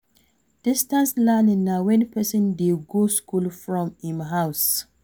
Distance learning na when person dey go school from im house